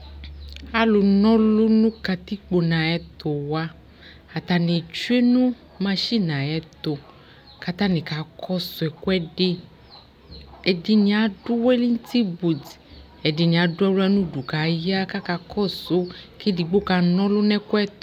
Alfʋ n'ɔlʋ nʋ katikpo n'ayɛtʋwa : atanɩ tsue nʋ masɩnɩ ayɛtʋ , k'atanɩ kakɔsʋ ɛkʋɛdɩ Ɛdɩnɩ adʋ wɛlɛŋtɩbuti , ɛdɩnɩ adʋ aɣla n'udu k'aya, k'aka kɔsʋ k'edigbo kan'ɔlʋ n'ɛkʋɛtʋ